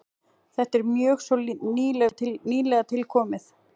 Þetta er mjög svo nýlega tilkomið.